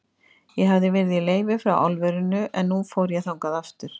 Ég hafði verið í leyfi frá álverinu, en nú fór ég þangað aftur.